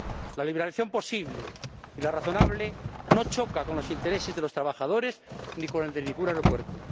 La liberalización posible y la razonable no chocan con los intereses de los trabajadores ni con los de ningún aeropuerto.